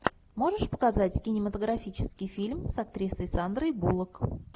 можешь показать кинематографический фильм с актрисой сандрой буллок